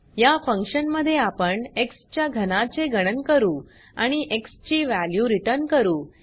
या फंक्शन मध्ये आपण एक्स च्या घनाचे गणन करू आणि एक्स ची वॅल्यू रिटर्न करू